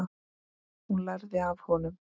Hún lærði af honum.